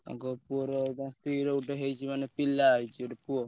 ତାଙ୍କ ପୁଅ ର ସ୍ତ୍ରୀ ର ଗୋଟେ ହେଇଛି ମାନେ ପିଲା ହେଇଛି ଗୋଟେ ପୁଅ।